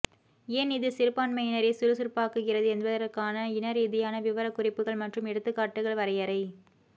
ஏன் இது சிறுபான்மையினரை சுறுசுறுப்பாக்குகிறது என்பதற்கான இனரீதியான விவரக்குறிப்புகள் மற்றும் எடுத்துக்காட்டுகள் வரையறை